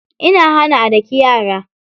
Ina hana a daki yara.